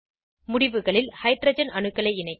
முடிவுகளில் ஹைட்ரஜன் அணுக்களை இணைக்க